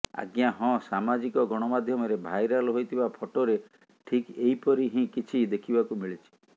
ଆଜ୍ଞା ହଁ ସାମାଜିକ ଗଣମାଧ୍ୟମରେ ଭାଇରାଲ୍ ହୋଇଥିବା ଫଟୋରେ ଠିକ୍ ଏହିପରି ହିଁ କିଛି ଦେଖିବାକୁ ମିଳିଛି